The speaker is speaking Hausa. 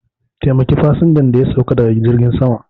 Taimaki fasinjan da ya sauka daga jirgin sama